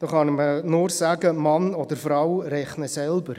Dazu kann ich nur sagen: Mann oder Frau rechne selber.